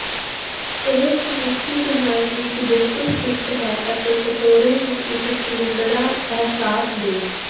ਇਹ ਸਮੁੱਚੀ ਡਿਜ਼ਾਇਨ ਵਿੱਚ ਬਿਲਕੁਲ ਫਿੱਟ ਹੈ ਅਤੇ ਕਟੋਰੇ ਨੂੰ ਇੱਕ ਖਿਲੰਦੜਾ ਅਹਿਸਾਸ ਦੇਣ